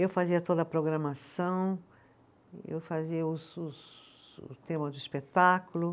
Eu fazia toda a programação, eu fazia os os, o tema do espetáculo.